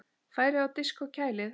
Færið á disk og kælið.